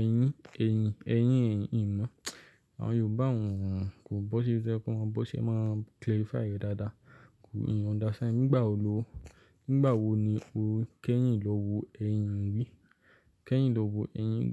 ẹyín, ẹyìn, ẹyín, eyìn inú? Àwọn Yorùbá òún, kò bó sí i ṣe kó máa bó ṣe máa clarify rẹ̀ dáadáa. Kò ì ho understand. Nígbà wo ló, nígbà wo ni o kẹ́yìn lọ wo ẹyìn rí? Kẹ́yìn lọ wo eyín rí.